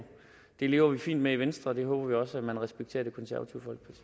det lever vi fint med i venstre og det håber vi også man respekterer